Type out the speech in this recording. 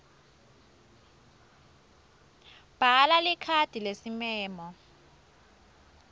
bhala likhadi lesimemo